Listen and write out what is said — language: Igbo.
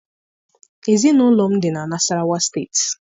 Ezinụlọ m dị na Nasarawa State